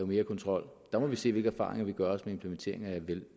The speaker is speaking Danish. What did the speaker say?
mere kontrol der må vi se hvilke erfaringer vi gør os med implementeringen af